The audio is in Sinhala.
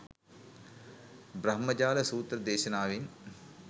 බ්‍රහ්මජාල සූත්‍ර දේශනාවෙන්,